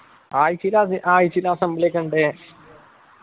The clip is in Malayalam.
ആഴ്ചയില് അത് ആഴ്ചയില് assembly ഒക്കെ ഉണ്ട്